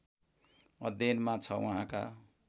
अध्ययनमा छ उहाँका